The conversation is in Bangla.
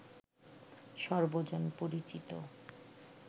সর্বজন পরিচিত